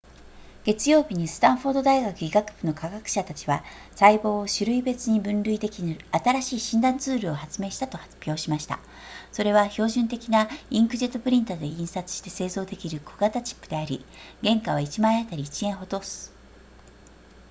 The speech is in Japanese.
月曜日にスタンフォード大学医学部の科学者たちは細胞を種類別に分類できる新しい診断ツールを発明したと発表しましたそれは標準的なインクジェットプリンタで印刷して製造できる小型チップであり原価は1枚あたり1円ほどす